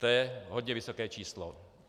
To je hodně vysoké číslo.